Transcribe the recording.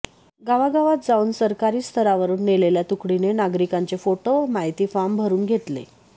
गावागावात जाऊन सरकारी स्तरावरून नेलेल्या तुकडीने नागरिकांचे फोटो व माहिती फॉर्म भरून घेतले